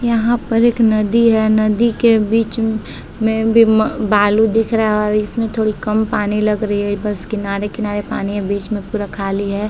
यहाँ पर एक नदी है। नदी के बीच में बी मा बालू दिख रहा है और इसमें थोड़ी कम पानी लग रही है। बस किनारे-किनारे पानी है बीच में पूरा खाली है।